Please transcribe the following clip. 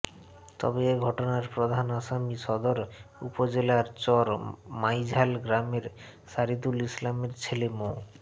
তবে এ ঘটনার প্রধান আসামি সদর উপজেলার চর মাইঝাল গ্রামের শহিদুল ইসলামের ছেলে মো